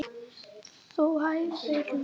Þú svæfa Lóló